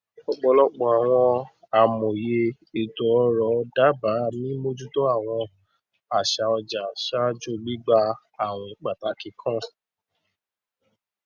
ọpọlọpọ àwọn amòye ètòòrò dába mímójútó àwọn àṣà ọjà ṣáájú gbígbà àwìn pàtàkì kan